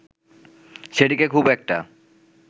সেটিকে খুব একটা